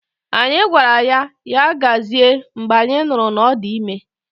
Anyị gwara ya, Ya gazie mgbe anyị nụrụ na ọ dị ime